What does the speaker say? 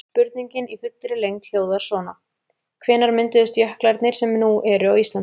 Spurningin í fullri lengd hljóðar svona: Hvenær mynduðust jöklarnir sem nú eru á Íslandi?